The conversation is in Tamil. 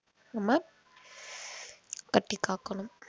நம்ம கட்டிக் காக்கணும்